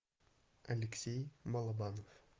алексей балабанов